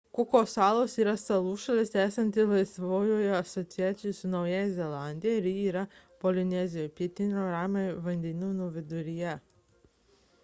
kuko salos yra salų šalis esanti laisvojoje asociacijoje su naująja zelandija ji yra polinezijoje pietinio ramiojo vandenyno viduryje